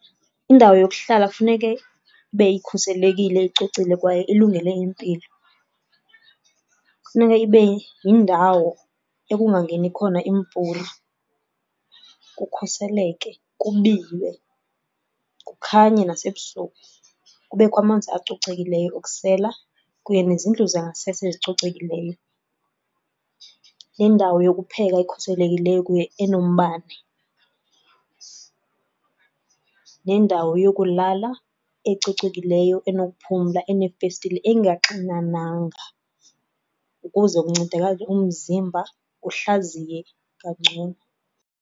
Indawo yokuhlala kufuneke ibe ikhuselekile, icocile kwaye ilungele impilo. Funeka ibe yindawo ekungangeni khona imvula kukhuseleke, kubiywe, kukhanye nasebusuku. Kubekho amanzi acocekileyo okusela kuye nezindlu zangasese ezicocekileyo, nendawo yokupheka ekhuselekileyo enombane. Nendawo yokulala ecocekileyo enokuphumla eneefestile, engaxinananga ukuze kuncedakale umzimba uhlaziye kangcono.